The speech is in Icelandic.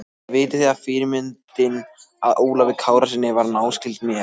Vitið þið að fyrirmyndin að Ólafi Kárasyni var náskyld mér?